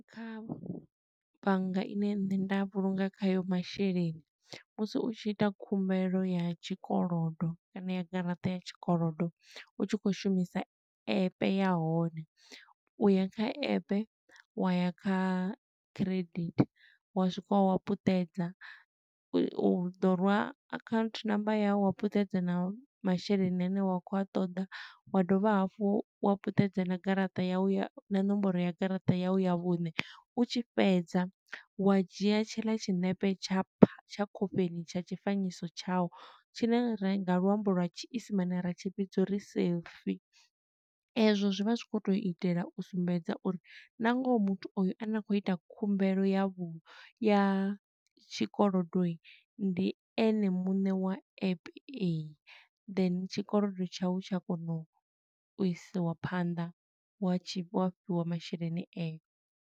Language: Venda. Kha bannga ine nṋe nda vhulunga khayo masheleni, musi u tshi ita khumbelo ya tshikolodo kana ya garaṱa ya tshikolodo, u tshi khou shumisa app ya hone. U ya kha app, wa ya kha credit, wa swika wa wa puṱedza, u ḓo rwa account number ya wu wa puṱedza na masheleni ane wa khou a ṱoḓa, wa dovha hafhu wa puṱedza na garaṱa ya u na ṋomboro ya garaṱa yau ya vhuṋe. U tshi fhedza wa dzhia tshiḽa tshiṋepe tsha pha tsha khofheni tsha tshifanyiso tshau tshine re nga luambo lwa tshiisimane ri tshi vhidza uri selfie. E zwo zwi vha zwi khou to itela u sumbedza uri, na ngoho muthu oyo ane a khou ita khumbelo ya vhu, ya tshikolodo, ndi ene muṋe wa app eyi. Then tshikolodo tshau tsha kona u isiwa phanḓa, wa tshi fhiwa masheleni ayo.